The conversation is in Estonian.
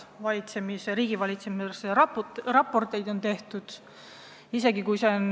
Meie riigivalitsemise kohta on tehtud mitu raportit.